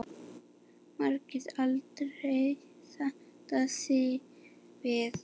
Margrét aldrei sætta sig við.